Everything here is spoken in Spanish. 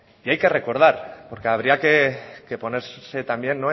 y hay que recordar porque habría que ponerse también